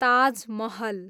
Taj Mahal